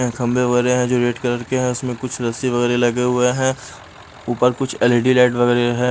खंबे वगैरे हैं जो रेड कलर के हैं उसमें कुछ रस्सी वगैरह लगे हुए हैं ऊपर कुछ एल_ई_डी लाइट वगैरह है।